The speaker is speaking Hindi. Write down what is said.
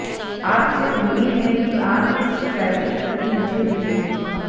आपसे उम्मीद है कि आप इस शिकायत की प्रति मुझे भेजेंगे